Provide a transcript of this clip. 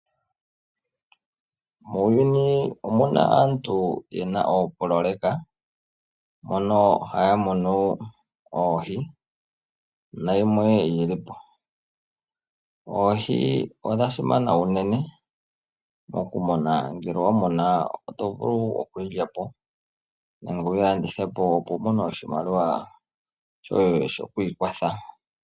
Muuyuni omuna aantu yena oopololeka mono haya munu oohi na gimwe yi li po. Oohi odha simana unene moku muna. Ngele owa muna oto vulu oku yi lya po nenge wu yi landithe po opo wu mone oshimaliwa shoye shoku ikwatha.